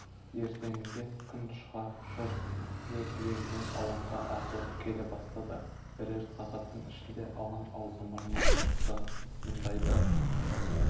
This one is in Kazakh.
ертеңінде күн шыға жұрт лек-легімен алаңға ағылып келе бастады бірер сағаттың ішінде алаң аузы-мұрнынан шықты мұндайды